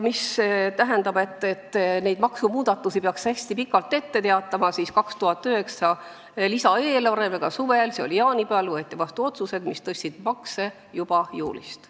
Mis puutub sellesse, et maksumuudatusi peaks hästi pikalt ette teatama, siis 2009. aasta suvel, jaanipäeval võeti vastu otsused, mis tõstsid makse juba juulist.